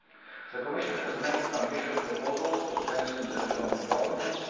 The Commission has made ambitious proposals to strengthen economic governance.